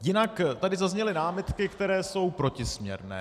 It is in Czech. Jinak tady zazněly námitky, které jsou protisměrné.